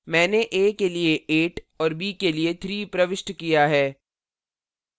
मैंने a के लिए 8 और b के लिए 3 प्रविष्ट किया है